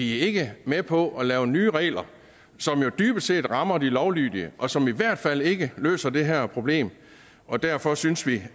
ikke med på at lave nye regler som jo dybest set rammer de lovlydige og som i hvert fald ikke løser det her problem og derfor synes vi